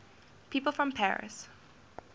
people from paris